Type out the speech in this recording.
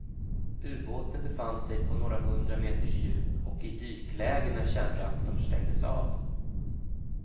Ubåten befann sig på några hundra meters djup och i dykläge när kärnreaktorn stängdes av.